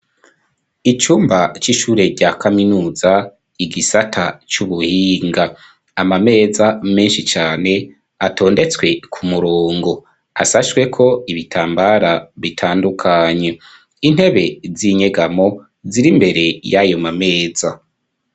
Icumba c'ishure rya kaminuza igisata c'ubuhinga, amameza menshi cane atondetswe ku murongo asashwe ko ibitambara bitandukanye. Intebe z'inyegamo ziri mbere y'ayo mameza.